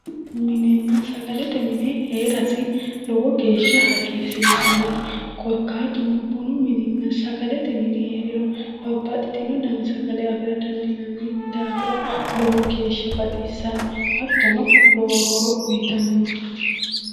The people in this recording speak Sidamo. Bunu minenna sagalete mine heerasi lowo geesha hagiirisiisannote korikaatuno bunu mininna sagalete mini heeriro babbaxitino dani sagale danni daafira lowo geesha baxisanno hatono lowo horo uyitanno